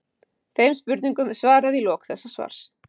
Þeim spurningum er svarað í lok þessa svars.